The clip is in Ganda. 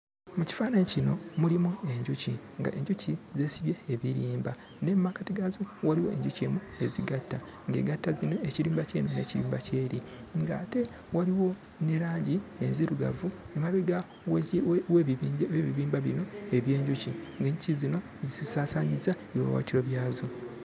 Mu kifaananyi kino mulimu enjuki, ng'enjuki zeesibye ebirimba naye mu makkati gaazo waliwo enjuki emu ezigatta, ng'egatta zino, ekirimba ky'eno n'ekirimba ky'eri, ng'ate waliwo ne langi enzirugavu emabega w'eki w'ebibimba bino eby'enjuki; ng'enjuki zino zisaasaanyizza ebiwaawaatiro byazo.